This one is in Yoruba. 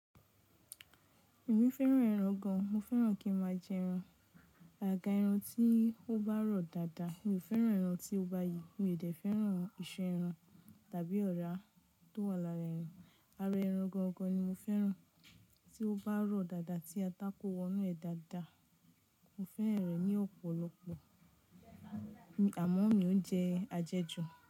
Èmi fẹ́ràn ẹran gan, mo fẹ́ràn kí n má a j’ẹran. Àgàgà ẹran tí ó bá rọ̀ dáadáa. Mi ò fẹ́ràn ẹran tí ó ba yìí, mi ò dé fẹ́ràn iṣan ẹran tàbí ọ̀rá tó wà lára ẹran. Ara ẹran gangan ni mo fẹ́ràn tí ó bá rọ̀ dáadáa tí atá kó wọnú ẹ̀ dáadáa. Mo fẹ́ràn rẹ̀ ní ọ̀pọ̀lọpọ̀ àmọ́ mi ò ń jẹ àjẹjù.